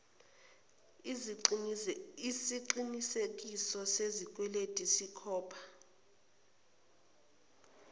iziqinisekiso sesikweletu sikhopna